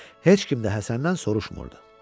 Heç kim də Həsəndən soruşmurdu.